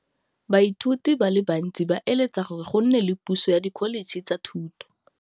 Baithuti ba bantsi ba eletsa gore go nne le pusô ya Dkholetšhe tsa Thuto.